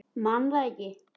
Man það ekki.